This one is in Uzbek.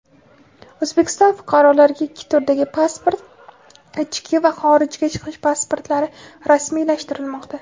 O‘zbekiston fuqarolariga ikki turdagi pasport – ichki va xorijga chiqish pasportlari rasmiylashtirilmoqda.